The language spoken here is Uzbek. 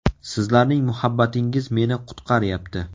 Sizlarning muhabbatingiz meni qutqaryapti.